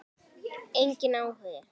Enginn áhugi.